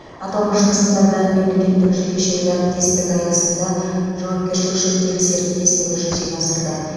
аталмыш нысандарды мемлекеттік жекешелік әріптестік аясында жауапкершілігі шектеулі серіктестігі жүзеге асырды